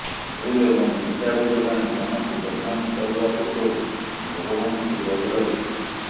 ଭୁଲ୍ ଏବଂ ମିଥ୍ୟା ଅଭିଯୋଗ ଆଣି ଜଣକୁ ବଦନାମ କରିବା ପୂର୍ବରୁ ଭଗବାନଙ୍କୁ ଡରିବା ଉଚିତ୍